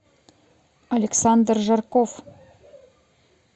александр жарков